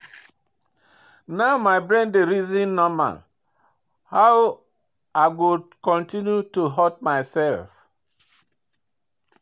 Now my brain dey reason normal, how i go continue to hurt myself.